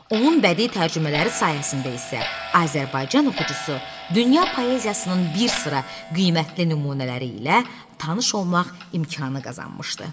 Onun bədii tərcümələri sayəsində isə Azərbaycan oxucusu dünya poeziyasının bir sıra qiymətli nümunələri ilə tanış olmaq imkanı qazanmışdı.